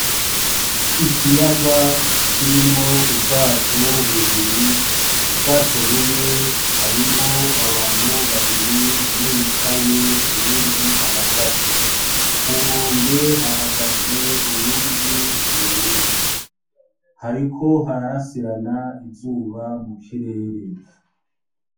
Ikiyaga kirimwo ubwato bubiri, ubwato bumwe harimwo abantu babiri:umwe yicaye, uyundi ahagaze. Ku nkombe hahagaze uyundi muntu umwe. Hariko hararasirana izuba mu kirere.